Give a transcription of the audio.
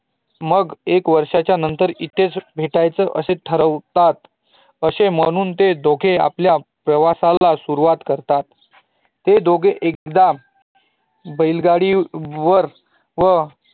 मग एक वर्षाच्या नंतर मग इथेच भेटायचे असे ठरवतात असे म्हणुन ते दोघे आपल्या प्रवासाला सुरुवात करतात ते दोघं एकदा बैलगाडी वर व